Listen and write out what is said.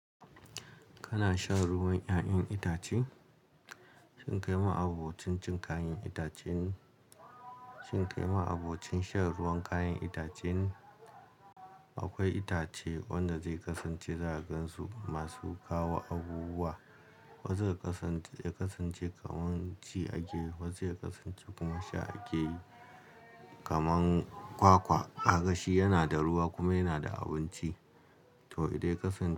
Kana shan ruwan 'ya'yan itace? Shin kai ma abokin cin kayan itacen-- shin kai ma abokin shan ruwan kayan itacen? Akwai itace wanda zai kasance zagansu masu kawo abubuwa, wasu zai kasance, ya kasance kamar ci ake yi, wasu ya kasance kuma sha ake yi. Kaman kwakwa, a gashi yana da ruwa kuma yana da abinci. To, idan ya kasance.